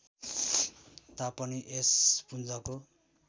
तापनि यस पुञ्जको